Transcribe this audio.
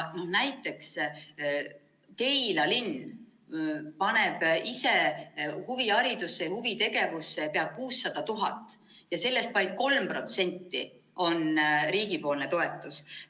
Näiteks Keila linn paneb ise huviharidusse ja huvitegevusse pea 600 000 ja sellest vaid 3% on riigipoolne toetus.